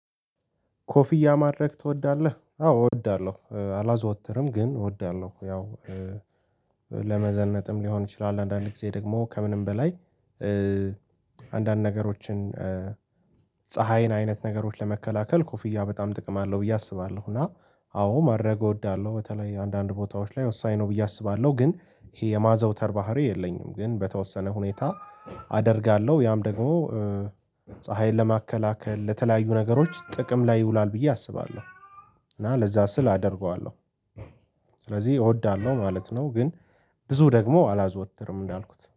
ኮፍያ ማድረግ ትወዳለህ? አዎ እወዳለሁ አላዘወትርም ግን እወዳለሁ ያው ለመዘነጥም ሊሆን ይችላል አንዳንዴ ጊዜ ደግሞ ከምንም በላይ። አንዳንድ ነገሮችን ፀሀይን አይነት ነገሮችን ለመከላከል ኮፍያ በጣም ጥቅም አለው ብዬ አስባለሁ። እና አዎ ማድረግ እወዳለሁ በተለይ አንዳንድ ቦታዎች ላይ ወሳኝ ነው ብዬ አስባለሁ። ግን ይሄ የማዘውተር ባህሪ የለኝም ግን በተወሰነ ሁኔታ አደርጋለሁ። ያም ደግሞ ፀሀይን ለማከላከል ለተለያዩ ነገሮች ጥቅም ላይ ይውላል ብዬ አስባለሁ። እና ለዛ ስል አደርገዋለሁ። ስለዚህ እወዳለሁ ማለት ነው። ግን ብዙ ደግሞ አላዘወትርም እንዳልኩት